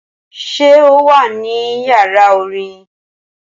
Ṣé o wà ní yàrá orin?